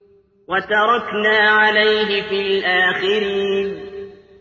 وَتَرَكْنَا عَلَيْهِ فِي الْآخِرِينَ